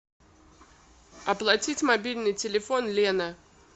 оплатить мобильный телефон лена